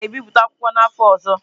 Ị ga-ebipụta akwụkwọ a n'afọ ọzọ?